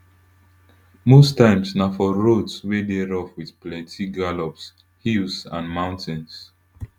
most times na for roads wey dey rough wit plenti gallops hills and mountains